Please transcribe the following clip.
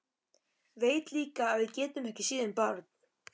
Veit líka að við getum ekki séð um barn.